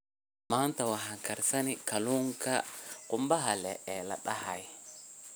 Maanta waxaan karsanay kalluunka qumbaha ee la dahaadhay.